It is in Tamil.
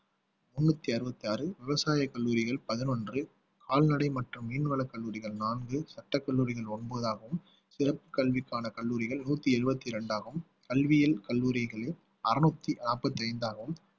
முன்னூத்தி அறுபத்தி ஆறு விவசாயக் கல்லூரிகள் பதினொன்று கால்நடை மற்றும் மீன்வளக் கல்லூரிகள் நான்கு சட்டக் கல்லூரிகள் ஒன்பதாகவும் சிறப்புக் கல்விக்கான கல்லூரிகள் நூத்தி எழுபத்தி இரண்டாகும் கல்வியியல் கல்லூரிகளில் அறுநூத்தி நாப்பத்தி ஐந்தாகவும்